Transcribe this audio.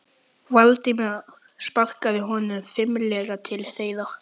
Valdimar sparkaði honum fimlega til þeirra.